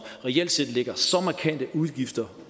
reelt set lægger så markante udgifter